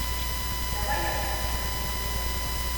давай я посмотрю сатиру